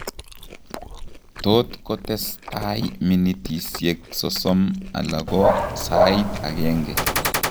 Tot kotestai minitisiek sosom ala ko saait agenge